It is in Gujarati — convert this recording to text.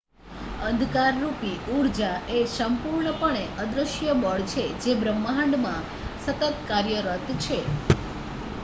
અંધકારરૂપી ઊર્જા એ સંપૂર્ણપણે અદૃશ્ય બળ છે જે બ્રહ્માંડમાં સતત કાર્યરત છે